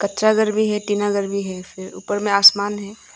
कच्चा घर भी है टीना घर भी है फिर ऊपर में आसमान है।